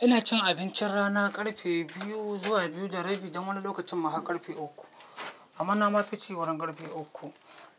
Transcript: Ina cin abincin rana ƙarfe biyu zuwa biyu da rabi don wani lokacin ma har ƙarfe uku. Amma na ma fici wurin ƙarfe uku.